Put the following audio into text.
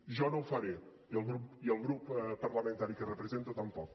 jo no ho faré i el grup parlamentari que represento tampoc